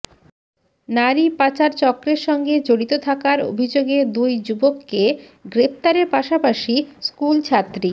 নারী পাচার চক্রের সঙ্গে জড়িত থাকার অভিযোগে দুই যুবককে গ্রেফতারের পাশাপাশি স্কুল ছাত্রী